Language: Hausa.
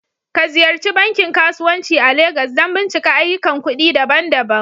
Ka Ziyarci bankin kasuwanci a Legas don bincika ayyukan kuɗi daban-daban